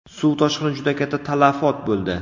Suv toshqini juda katta talafot bo‘ldi.